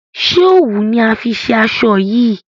ṣe òwú ni a fí ṣe aṣọ yí?